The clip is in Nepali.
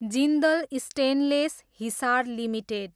Jindal stainless, Hisar, limited